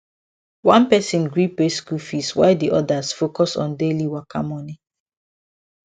one person gree pay school fees while the others focus on daily waka money